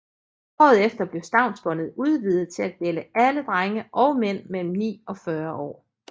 Året efter blev stavnsbåndet udvidet til at gælde alle drenge og mænd mellem ni og 40 år